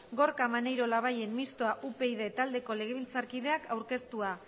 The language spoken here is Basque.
gorka maneiro labayen mistoa upyd taldeko legebiltzarkideak aurkeztua